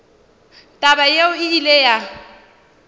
taba yeo e ile ya